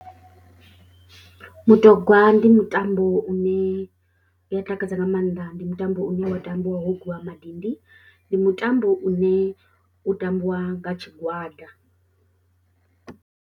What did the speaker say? Mutogwa ndi mutambo une u a takadza nga maanḓa, ndi mutambo une wa tambiwa ho gwiwa madindi, ndi mutambo une u tambiwa nga tshigwada.